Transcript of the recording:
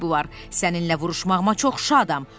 Səninlə vuruşmağıma çox şadam.